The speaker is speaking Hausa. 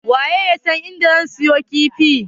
Waye yasan inda zan siyo kifi?